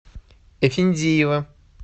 эфендиева